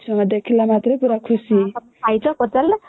ଆଉ ତମେ ଖାଇଛ କେତେବେଳେ